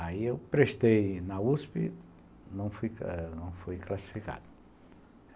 Aí eu prestei na uspi, não fui classificado.